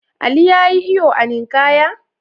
Ali ya yi iyo a ninkaya?